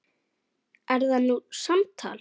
Er það nú samtal!